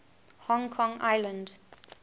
hong kong island